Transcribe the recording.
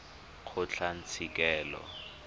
kgotlatshekelo